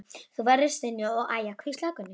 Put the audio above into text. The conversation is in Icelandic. Þú verður að stynja og æja, hvíslaði Gunni.